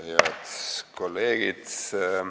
Head kolleegid!